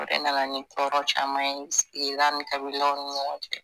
O de nana ni tɔɔrɔ caman ye sigida ni kabilaw ni ɲɔgɔn cɛ